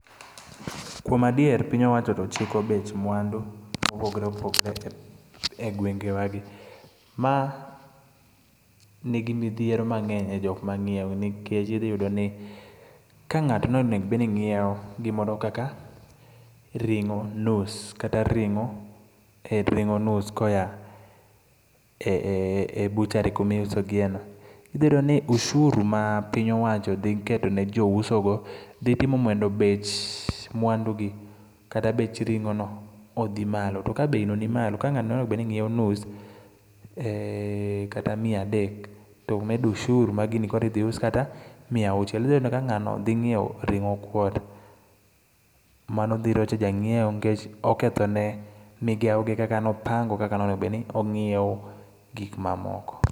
Kuom adier piny owacho to chiko bech mwandu mopogore opogore e gwenge wa gi. Ma nigi midhiero mang'eny e jok mang'iewo nikech idhi yudo ni, ka ng'ato noneg bed ni ng'iewo gimoro kaka ring'o nus, kata ring'o, ring'o nus koya e butchery kuma iuso gie no. Idhi yudo ni ushuru ma piny owacho dhi keto ne jo uso go, dhi timo mondo bech mwandu gi, kata bech ring'o no, odhi malo. To ka bei no nimalo, ka ng'ano nonego bedni ng'iewo nus kata mia adek, to medo ushuru ma gini koro idhi us kata miauchiel. Idhi yudo ka ng'ano dhi ng'iewo ring'o kwota, mano dhi rocho jang'iewo nikech oketho ne migao ne kaka nopango kaka nonego bed ni ong'iewo gik mamoko.